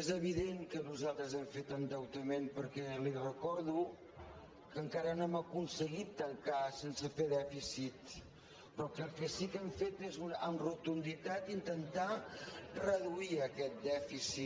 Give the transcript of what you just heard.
és evident que nosaltres hem fet endeutament perquè li recordo que encara no hem aconseguit tancar sense fer dèficit però que el que sí que hem fet és amb rotunditat intentar reduir aquest dèficit